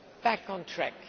back on track.